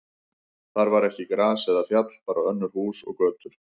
Þar var ekki gras eða fjall, bara önnur hús og götur.